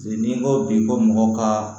N'i ko bi ko mɔgɔ ka